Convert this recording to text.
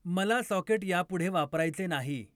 मला सॉकेट यापुढे वापरायचे नाही